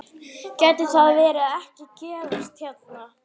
Gæti það ekki gerst hérna?